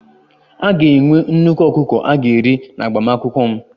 A ga-enwe nnukwu ọkụkọ a ga-eri n'agbamakwụkwọ m